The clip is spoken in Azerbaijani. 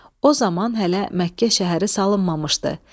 O zaman hələ Məkkə şəhəri salınmamışdı.